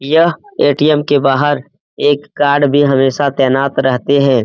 यह ए.टी.एम. के बहार एक गार्ड भी हमेशा तैनात रहते हैं।